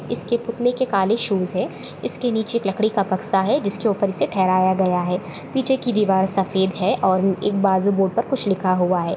इसके पूतले के काले शूज है इसके निचे एक लकडी का बक्सा है जिसके ऊपर से ठहराया गया है पीछे की दिवार सफेद है और एक बाजू बोर्ड पर कुछ लिखा हुआ है।